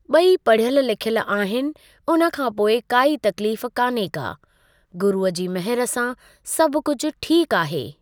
ॿई पढ़यलि लिखयलि आहिनि उन खां पोइ काई तकलीफ़ काने का, गुरूअ जी महर सां सभु कुझु ठीक आहे।